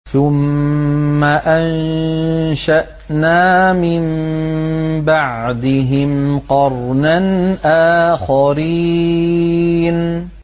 ثُمَّ أَنشَأْنَا مِن بَعْدِهِمْ قَرْنًا آخَرِينَ